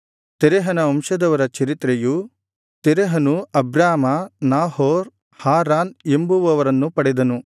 ತೆರಹನ ವಂಶದವರ ಚರಿತ್ರೆಯು ತೆರಹನು ಅಬ್ರಾಮ ನಾಹೋರ್ ಹಾರಾನ್ ಎಂಬುವರನ್ನು ಪಡೆದನು ಹಾರಾನನು ಲೋಟನನ್ನು ಪಡೆದನು